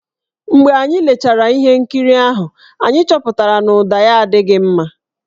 Mgbe anyị lechara ihe nkiri ahụ, anyị chọpụtara na ụda ya adịghị mma.